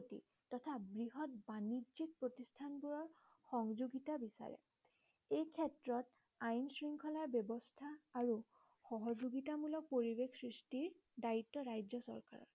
তথা বৃহৎ বাণিজ্যিক প্ৰতিষ্ঠান বোৰৰ সহযোগিতা বিচাৰে। এই ক্ষেত্ৰত আইন শৃংখলাৰ ব্যৱস্থা আৰু সহযোগিতামূলক পৰিবেশ সৃষ্টিৰ দায়িত্ব ৰাজ্য চৰকাৰৰ